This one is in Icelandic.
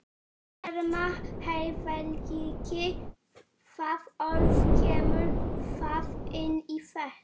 Telma: Heiðarleiki, það orð, kemur það inn í þetta?